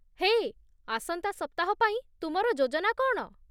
ହେ, ଆସନ୍ତା ସପ୍ତାହ ପାଇଁ ତୁମର ଯୋଜନା କ'ଣ?